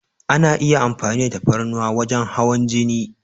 Ana iya amfani da tafarnuwa wajen hawan jini.